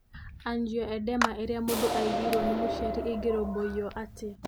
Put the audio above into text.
Angioedema ĩrĩa mũndũ aigĩirũo nĩ mũciari ĩngĩĩrũmbũiyo atĩa?